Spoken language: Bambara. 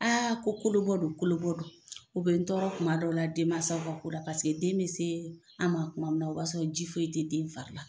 ko kolobɔ don kolobɔ don u bɛ n tɔɔrɔ tuma dɔw la denmansaw ka ko la den bɛ se an ma tuma min na o b'a sɔrɔ ji foyi tɛ den fari la.